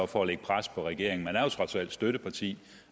for at lægge pres på regeringen man er jo trods alt støtteparti